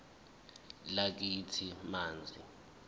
lakithi f manzi